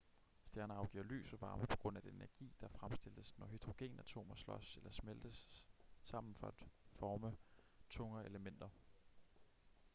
stjerner afgiver lys og varme på grund af den energi der fremstilles når hydrogenatomer slås eller smeltes sammen for at forme tungere elementer